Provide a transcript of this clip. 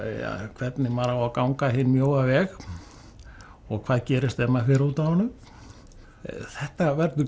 hvernig maður á að ganga hinn mjóa veg og hvað gerist ef maður fer út af honum þetta verður